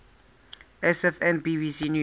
sfn bbc news